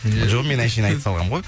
иә жоқ мен әншейін айта салғанмын ғой